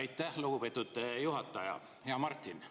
Aitäh, lugupeetud juhataja, hea Martin!